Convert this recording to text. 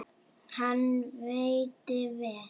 Hann veitti vel